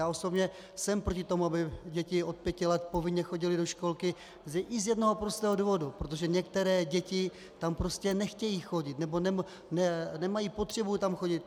Já osobně jsem proti tomu, aby děti od pěti let povinně chodily do školky, i z jednoho prostého důvodu - protože některé děti tam prostě nechtějí chodit nebo nemají potřebu tam chodit.